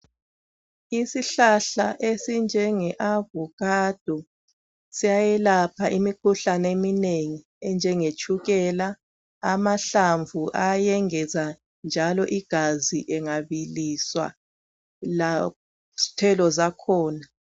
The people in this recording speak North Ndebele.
Isihlahla esinjenge avocado siyayelapha imikhuhlane eminengi enjenge tshukela amahlamvu ayengeza njalo igazi engabiliswa lezithelo zakhona